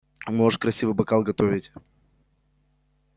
можешь красивый бокал готовить